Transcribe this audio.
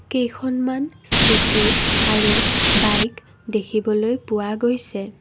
কেইখনমান স্কুটি আৰু বাইক দেখিবলৈ পোৱা গৈছে।